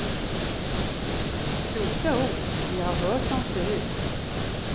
Kloka ord, vi har hört dem förut.